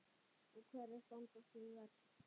Og hverjar standa sig verst?